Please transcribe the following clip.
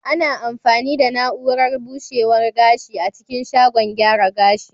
Ana amfani da na'urar bushewa gashi a cikin shagon gyara gashi.